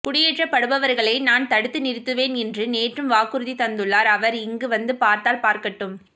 குடியேற்றப்படுபவர்களை நான் தடுத்து நிறுத்துவேன் என்று நேற்றும் வாக்குறுதி தந்துள்ளார் அவர் இங்க வந்து பார்த்தால் பார்க்கட்டும்